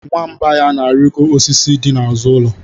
Nwamba ya na-arịgo osisi dị n'azụ ụlọ.